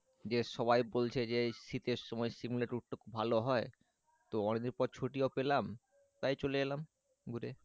যে সবাই বলছে যে শীতের সময় সিমলা ট্যুরটা খুব ভালো হয় তো অনেকদিন পর ছুটি ও পেলাম তাই চলে এলাম ঘুরে